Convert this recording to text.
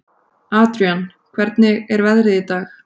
Adrian, hvernig er veðrið í dag?